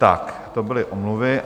Tak to byly omluvy.